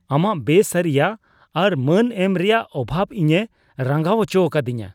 ᱟᱢᱟᱜ ᱵᱮ ᱥᱟᱹᱨᱤᱭᱟᱜ ᱟᱨ ᱢᱟᱹᱱ ᱮᱢ ᱨᱮᱭᱟᱜ ᱚᱵᱷᱟᱵ ᱤᱧᱮ ᱨᱟᱸᱜᱟᱣ ᱚᱪᱚᱣᱟᱠᱟᱫᱤᱧᱟ ᱾